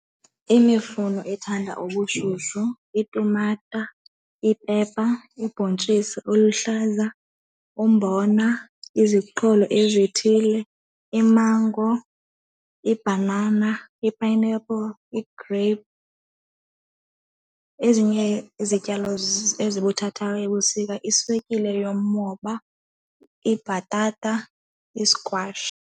Imifuno ethanda ubushushu, itumata, iipepa, ibontjisi eluhlaza, umbona, iziqholo ezithile, imango, ibhanana, i-pineapple, igreyiphu. Ezinye izityalo ezibuthathaka ebusika, iswekile yomoba, ibhatata, iskwashi.